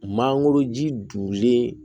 Mangoro ji donlen